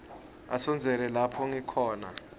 asondzele lapho ngikhona